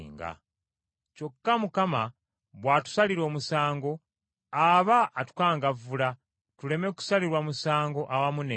Kyokka Mukama bw’atusalira omusango aba atukangavvula tuleme kusalirwa musango awamu n’ensi.